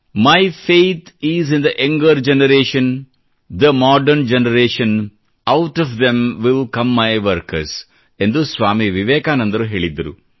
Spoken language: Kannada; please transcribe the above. my faith is in the younger generation the modern generation out of them will come my workers ಎಂದು ಸ್ವಾಮಿ ವಿವೇಕಾನಂದರು ಹೇಳಿದ್ದರು